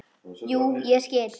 Jú, ég skil.